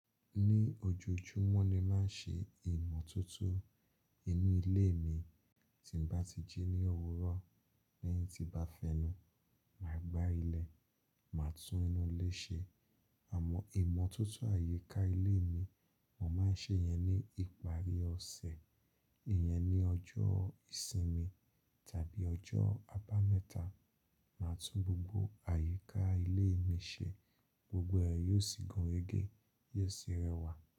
Ní ojoojúmọ́ ni máa ń ṣe ìmọ̀tótó inú ilé mi. Tí n bá ti jí ní òwúrọ̀, lẹ́yìn tí bá fẹnu, màá gbá ilẹ̀, màá tún inú ilé ṣe. Àmọ́ ìmọ̀tótó àyíká ilé mi, mò máa ń ṣe yẹn ní ìparí ọ̀sẹ̀. Ìyẹn ni ọjọ́ ìsinmi tàbí ọjọ́ abámẹ́ta, màá tún gbogbo àyíká ilé mi ṣe. Gbogbo ẹ̀ yóò sì gun rẹgẹ, yóò sì rẹwà.